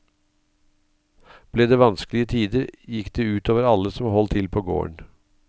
Ble det vanskelige tider, gikk det ut over alle som holdt til på gården.